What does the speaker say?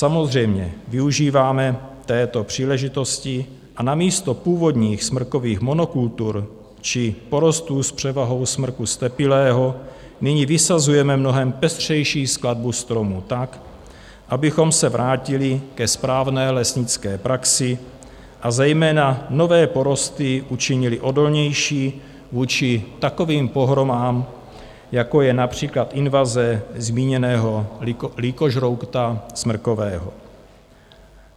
Samozřejmě využíváme této příležitosti a namísto původních smrkových monokultur či porostů s převahou smrku ztepilého nyní vysazujeme mnohem pestřejší skladbu stromů tak, abychom se vrátili ke správné lesnické praxi a zejména nové porosty učinili odolnější vůči takovým pohromám, jako je například invaze zmíněného lýkožrouta smrkového.